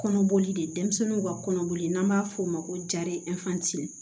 Kɔnɔboli de denmisɛnninw ka kɔnɔboli n'an b'a f'o ma ko